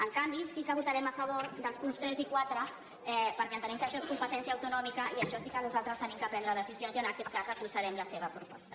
en canvi sí que votarem a favor dels punts tres i quatre perquè entenem que això és competència autonòmica i sobre això sí que nosaltres hem de prendre decisions i en aquest cas donarem suport a la seva proposta